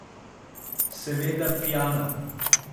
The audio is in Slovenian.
Seveda pijana.